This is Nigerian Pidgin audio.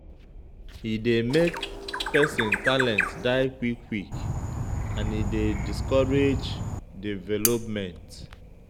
E dey make pesin talent die quick quick and e dey discourage development.